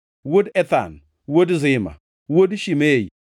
wuod Ethan, wuod Zima, wuod Shimei